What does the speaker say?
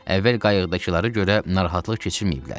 Əvvəl qayıqdakıları görə narahatlıq keçirməyiblər.